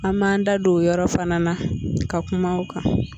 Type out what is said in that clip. An b'an da don o yɔrɔ fana na ka kuma kan.